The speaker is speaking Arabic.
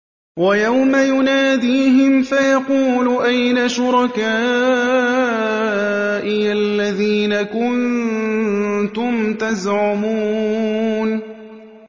وَيَوْمَ يُنَادِيهِمْ فَيَقُولُ أَيْنَ شُرَكَائِيَ الَّذِينَ كُنتُمْ تَزْعُمُونَ